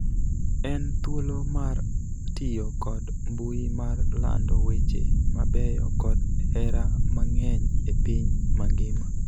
En thuolo mar tiyo kod mbui mar lando weche mabeyo kod hera mang'eny e piny mangima.